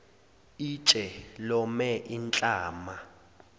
itshe lome inhlama